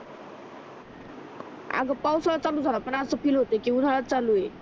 आग पाऊसाडाच चालू झालं पण अस फील होते कि उन्हाळाच चालू होईल